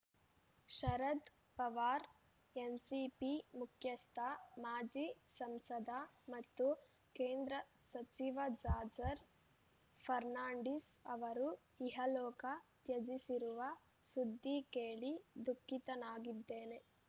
Sharad Pawar NCP ಮುಖ್ಯಸ್ಥ ಮಾಜಿ ಸಂಸದ ಮತ್ತು ಕೇಂದ್ರ ಸಚಿವ ಜಾರ್ಚ್ರ್ ಫರ್ನಾಂಡಿಸ್‌ ಅವರು ಇಹಲೋಕ ತ್ಯಜಿಸಿರುವ ಸುದ್ದಿ ಕೇಳಿ ದುಃಖಿತನಾಗಿದ್ದೇನೆ